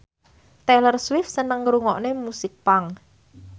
Taylor Swift seneng ngrungokne musik punk